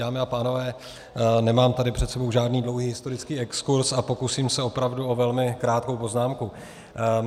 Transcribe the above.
Dámy a pánové, nemám tady před sebou žádný dlouhý historicky exkurz a pokusím se opravdu o velmi krátkou poznámku.